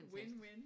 Win win